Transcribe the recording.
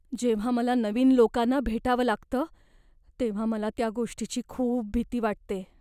जेव्हा मला नवीन लोकांना भेटावं लागतं तेव्हा मला त्या गोष्टीची खूप भीती वाटते.